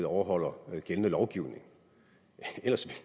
overholder gældende lovgivning ellers